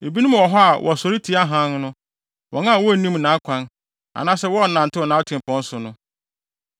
“Ebinom wɔ hɔ a wɔsɔre tia hann no, wɔn a wonnim nʼakwan anaasɛ wɔnnantew nʼatempɔn so no.